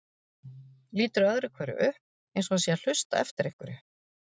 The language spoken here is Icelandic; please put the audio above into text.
Lítur öðru hverju upp eins og hann sé að hlusta eftir einhverju.